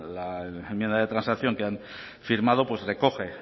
la enmienda de transacción que han firmado recoge